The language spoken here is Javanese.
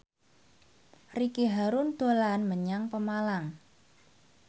Ricky Harun dolan menyang Pemalang